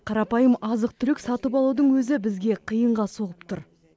қарапайым азық түлік сатып алудың өзі бізге қиынға соғып тұр